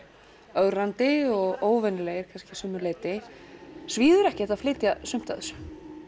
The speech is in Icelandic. ögrandi og óvenjulegir kannski að sumu leyti svíður ekkert að flytja sumt af þessu